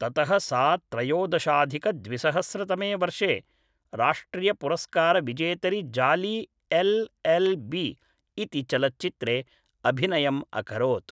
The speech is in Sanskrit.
ततः सा त्रयोदशाधिकद्विसहस्रतमे वर्षे राष्ट्रियपुरस्कारविजेतरि जाली एल् एल् बी इति चलच्चित्रे अभिनयम् अकरोत्